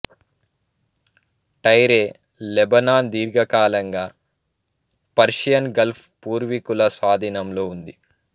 Tyre Lebanon దీర్ఘకాలంగా Persian gulf పూర్వీకుల స్వాధీనంలో ఉంది